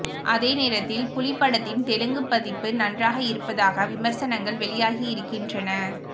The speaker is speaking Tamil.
அதே நேரத்தில் புலி படத்தின் தெலுங்குப் பதிப்பு நன்றாக இருப்பதாக விமர்சனங்கள் வெளியாகி இருக்கின்றன